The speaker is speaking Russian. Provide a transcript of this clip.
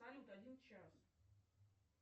салют один час